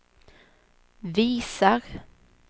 visar